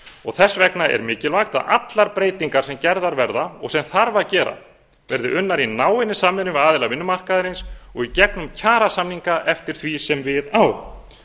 og þess vegna er mikilvægt að allar breytingar sem gerðar verða og sem þarf að gera verði unnar í náinni samvinnu við aðila vinnumarkaðarins og í gegnum kjarasamninga eftir því sem við á